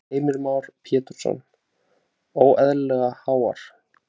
Heimir Már Pétursson:. óeðlilega háar?